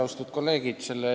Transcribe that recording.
Austatud kolleegid!